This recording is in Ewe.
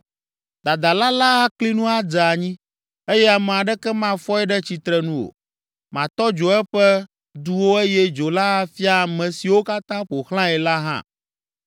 Dadala la akli nu adze anyi eye ame aɖeke mafɔe ɖe tsitrenu o. Matɔ dzo eƒe duwo eye dzo la afia ame siwo katã ƒo xlãe la hã.”